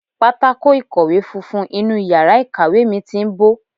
Pátákó ìkọ̀wé funfun inú yàrá ìkàwé mi ti ń bó.